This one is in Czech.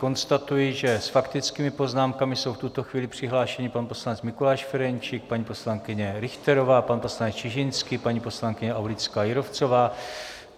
Konstatuji, že s faktickými poznámkami jsou v tuto chvíli přihlášeni pan poslanec Mikuláš Ferjenčík, paní poslankyně Richterová, pan poslanec Čižinský, paní poslankyně Aulická Jírovcová.